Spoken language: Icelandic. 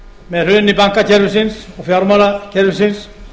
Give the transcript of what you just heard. með hruni bankakerfisins og fjármálakerfisins